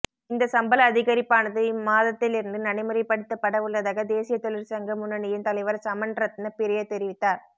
இந்த சம்பள அதிகரிப்பானது இம்மாதத்திலிருந்து நடைமுறைப்படுத்தப்படவுள்ளதாக தேசிய தொழிற்சங்க முன்னணியின் தலைவர் சமன்ரத்ன பிரிய தெரிவித்தார்